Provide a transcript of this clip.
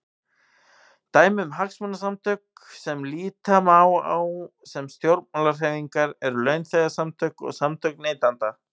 Dæmi um hagsmunasamtök sem líta má á sem stjórnmálahreyfingar eru launþegasamtök og samtök neytenda.